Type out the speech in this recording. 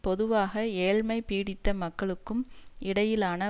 பொதுவாக ஏழ்மை பீடித்த மக்களுக்கும் இடையிலான